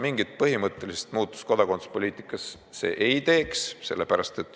Mingit põhimõttelist muutust kodakondsuspoliitikas see ei tekitaks.